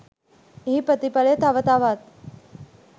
එහි ප්‍රතිඵලය තව තවත්